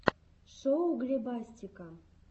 шоу глебастика